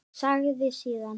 Sagði síðan: